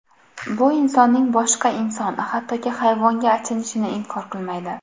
Bu insonning boshqa inson, hattoki hayvonga achinishini inkor qilmaydi.